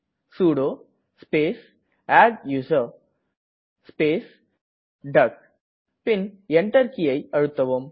sudo space adduser பின் Enter கீயை அழுத்தவும்